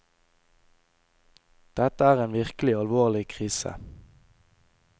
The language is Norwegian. Dette er en virkelig alvorlig krise.